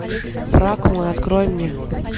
враг мой открой мне